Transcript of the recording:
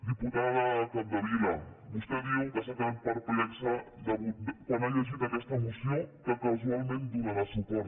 diputada capdevila vostè diu que s’ha quedat perplexa quan ha llegit aquesta moció a la qual casualment donarà suport